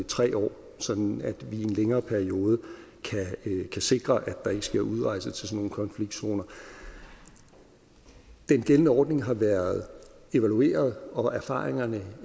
tre år sådan at vi i en længere periode kan sikre at der ikke sker udrejser til sådan nogle konfliktzoner den gældende ordning har været evalueret og erfaringerne